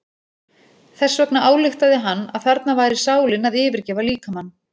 Þess vegna ályktaði hann að þarna væri sálin að yfirgefa líkamann.